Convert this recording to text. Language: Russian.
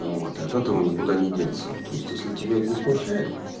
вот этого никуда не деться ну то есть если тебя это не смущает